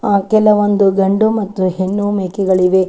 ಆ ಕೆಲವೊಂದು ಗಂಡು ಮತ್ತು ಹೆಣ್ಣು ಮೇಕೆಗಳಿವೆ.